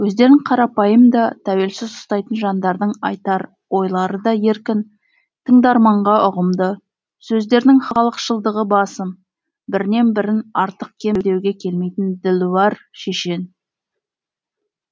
өздерін қарапайым да тәуелсіз ұстайтын жандардың айтар ойлары да еркін тыңдарманға ұғымды сөздерінің халықшылдығы басым бірінен бірін артық кем деуге келмейтін ділуәр шешен